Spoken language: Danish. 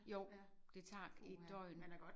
Jo det tager et døgn